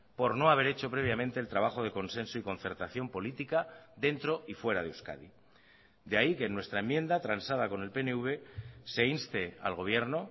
por no haber hecho previamente el trabajo de consenso y concertación política dentro y fuera de euskadi de ahí que en nuestra enmienda transada con el pnv se inste al gobierno